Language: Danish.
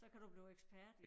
Så kan du blive ekspert